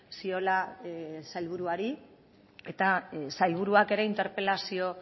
ziola sailburuari eta sailburuak ere interpelazio